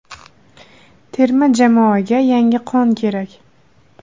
Terma jamoaga yangi qon kerak.